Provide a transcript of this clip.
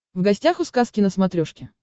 в гостях у сказки на смотрешке